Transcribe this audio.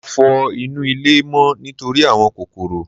Mo fọ inú ilé mọ́ nítorí àwọn kòkòrò.